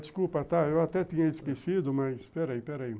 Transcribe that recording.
Desculpa, tá, eu até tinha esquecido, mas peraí, peraí.